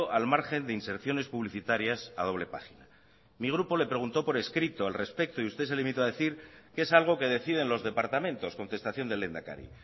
al margen de inserciones publicitarias a doble página mi grupo le preguntó por escrito al respecto y usted se limitó a decir que es algo que deciden los departamentos contestación del lehendakari